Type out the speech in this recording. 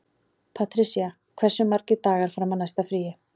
Patrisía, hversu margir dagar fram að næsta fríi?